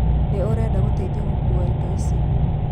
Nĩ ũrenda gũtethio gũkua indo ici